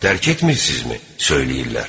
"Dərk etmirsizmi?" söyləyirlər.